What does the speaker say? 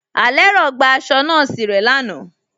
Alẹ́rọ̀ gba àṣọ̀ nọọ̀sí rẹ̀ láànà.